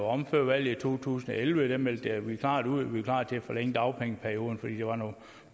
om før valget i to tusind og elleve meldte vi klart ud at vi var klar til at forlænge dagpengeperioden fordi der var nogle